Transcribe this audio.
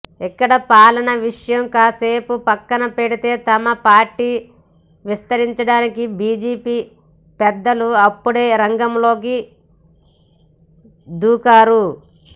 ఇక్కడ పాలన విషయం కాసేపు పక్కన పెడితే తమ పార్టీని విస్తరించడానికి బీజేపీ పెద్దలు అప్పుడే రంగంలోకి దూకారు